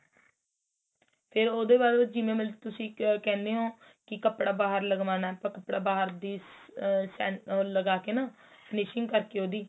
ਫੇਰ ਉਹਦੇ ਬਾਅਦ ਉਹ ਜਿਵੇਂ ਮਰਜੀ ਤੁਸੀਂ ਕਹਿਣੇ ਓ ਕੀ ਕਪੜਾ ਬਾਹਰ ਲਗਵਾਣਾ ਤਾਂ ਕਪੜਾ ਬਾਹਰ ਦੀ ਆ ਆ ਲਗਾ ਕੇ ਨਾ finishing ਕਰ ਕੇ ਉਹਦੀ